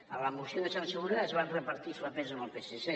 en la moció de censura es van repartir els papers amb el psc